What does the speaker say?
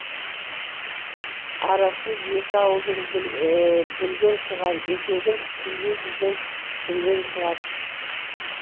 арасы екі ауылдың бүрген шығар етегін түнде жүрген түрген шығар